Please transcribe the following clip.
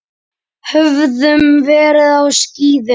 Höfðum verið á skíðum.